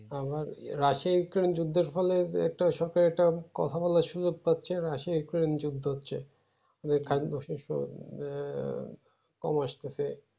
আমার Russia Ukraine যুদ্ধের ফলে একটার সাথে একটা কথা বলার সুযোগ পাচ্ছে এবং রাশিয়া যুদ্ধ হচ্ছে কম আসতেছে